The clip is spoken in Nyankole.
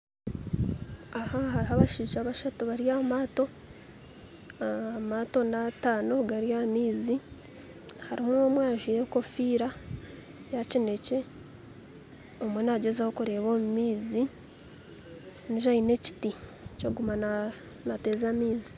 Aha hariho abashaija bashatu bari ahamatto , amatto n'atano gari ah'amaizi harumu omwe ajwaire enkofiira ya kinekye omwe nagyezaho kureeba omu maizi ondijo aine ekiti kyokuguma nateeza amaizi.